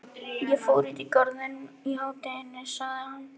Ég fór út í Garðinn í hádeginu sagði hann.